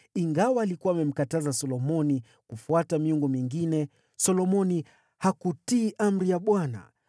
Ingawa alikuwa amemkataza Solomoni kufuata miungu mingine, Solomoni hakutii amri ya Bwana .